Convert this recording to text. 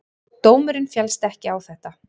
Dómurinn féllst ekki á þetta.